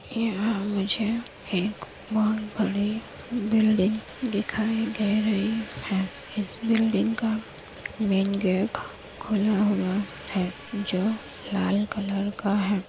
यहाँ मुझे एक बहुत बड़ी बिल्डिंग दिखाई दे रही है| इस बिल्डिंग का मेन गेट खुला हुआ है जो लाल कलर का है।